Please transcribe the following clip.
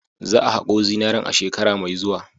Za a hako zinaren a shekara mai zuwa.